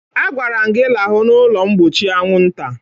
Agwara m gị lahụ n'ụlọ mgbochi anwụnta!